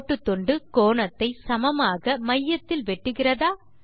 கோட்டுத்துண்டு கோணத்தை சமமாக மையத்தில் வெட்டுகிறதா